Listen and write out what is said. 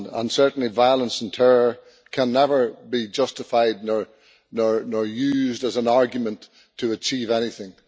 Certainly, violence and terror can never be justified nor used as an argument to achieve anything.